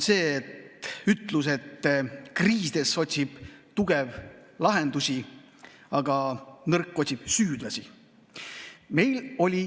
See on ütlus, et kriisides otsib tugev lahendusi, aga nõrk otsib süüdlasi.